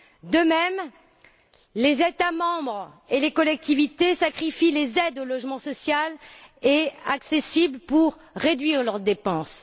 De même, les États membres et les collectivités sacrifient les aides au logement social pour réduire leurs dépenses.